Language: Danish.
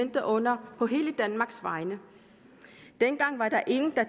under på hele danmarks vegne dengang var der ingen der